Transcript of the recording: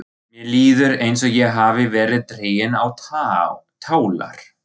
Mér líður eins og ég hafi verið dregin á tálar.